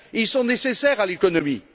Ils sont nécessaires à l'économie.